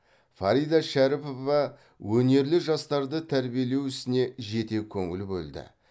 фарида шәріпова өнерлі жастарды тәрбиелеу ісіне жете көңіл бөлді